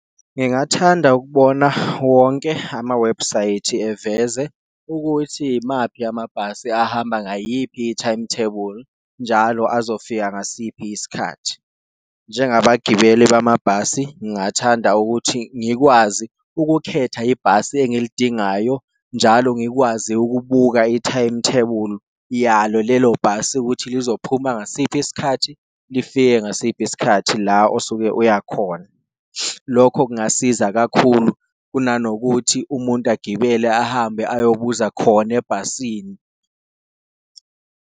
Ngingathanda ukubona wonke amawebhusayithi eveze ukuthi imaphi yamabhasi ahamba ngayiphi i-timetable njalo azofika ngasiphi isikhathi, njengabagibeli bamabhasi ngingathanda ukuthi ngikwazi ukukhetha ibhasi engilidingayo. Njalo ngikwazi ukubuka i-timetable yalo lelo bhasi ukuthi luzophuma ngasiphi isikhathi lifike ngasiphi isikhathi la osuke uya khona, lokho kungasiza kakhulu kunanokuthi umuntu agibele ahambe ayobuza khona ebhasini.